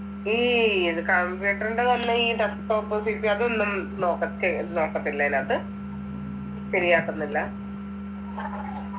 ഈ ഇത് computer ൻ്റെ തന്നെ ഈ desktop check എയ്യാ അതൊന്നും നോക്കത് ചെയ്യ്‌ നോക്കത്തില്ല അതിനകത്ത് ശരിയാക്കുന്നില്ല